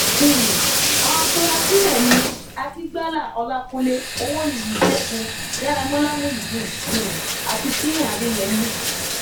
um àwọn afurasí náà ni akigbala ọlàkùnlé owóniyi ṣẹgun daramọlá muideen um àti sina adeyemi